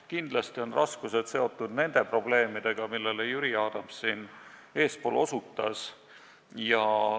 Kindlasti on raskused seotud nende probleemidega, millele Jüri Adams eespool osutas.